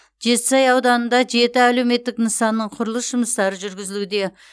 жетісай ауданында жеті әлеуметтік нысанның құрылыс жұмыстары жүргізілуде